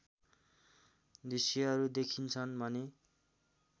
दृश्यहरू देखिन्छन् भने